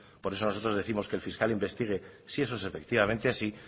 por eso nosotros décimos que el fiscal investigue si eso es efectivamente así